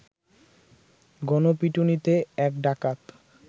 গণপিটুনিতে এক ডাকাত